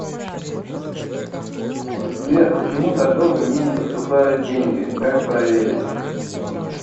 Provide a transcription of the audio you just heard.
сбер почему так долго мне не поступают деньги как проверить